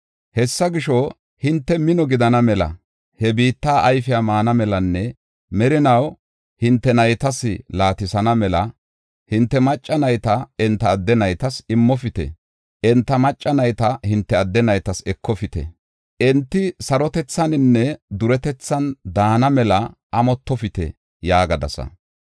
Hessa gisho, hinte mino gidana mela, he biitta ayfiya maana melanne merinaw hinte naytas laatisana mela, hinte macca nayta enta adde naytas immofite; enta macca nayta hinte adde naytas ekofite. Enti sarotethaninne duretethan daana mela amottofite’ yaagadasa.